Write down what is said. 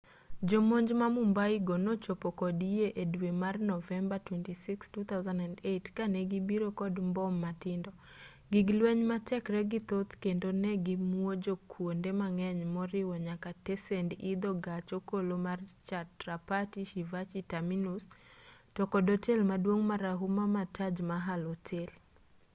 jomonj ma mumbai go nochopo kod yie e dwe mar novemba 26 2008 ka ne gibiro kod mbom matindo gig lweny ma tekregi thoth kendo ne gimuojo kwonde mang'eny moriwo nyaka tesend idho gach okolo mar chhatrapati shivaji terminus to kod otel maduong' marahuma ma taj mahal hotel